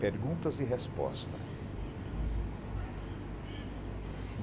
Perguntas e respostas.